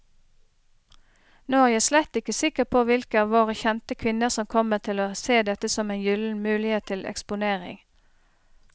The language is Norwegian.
Nå er jeg slett ikke sikker på hvilke av våre kjente kvinner som kommer til å se dette som en gyllen mulighet til eksponering.